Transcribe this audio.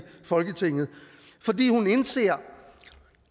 folketinget fordi hun indser